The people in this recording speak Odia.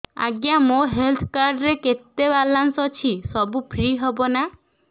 ଆଜ୍ଞା ମୋ ହେଲ୍ଥ କାର୍ଡ ରେ କେତେ ବାଲାନ୍ସ ଅଛି ସବୁ ଫ୍ରି ହବ ନାଁ